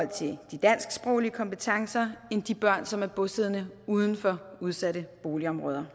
til de dansksproglige kompetencer end de børn som er bosiddende uden for udsatte boligområder